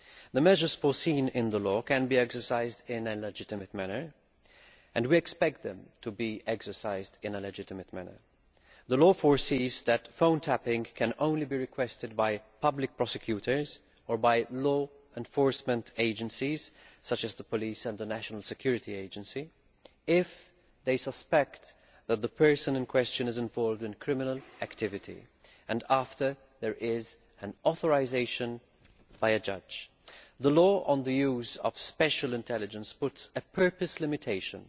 The measures foreseen in the law can be exercised in a legitimate manner and we expect them to be exercised in a legitimate manner. The law foresees that phone tapping can only be requested by public prosecutors or by law enforcement agencies, such as the police and the national security agency, if they suspect that the person in question is involved in criminal activity and after there is authorisation by a judge. The law on the use of special intelligence lays down a purpose limitation,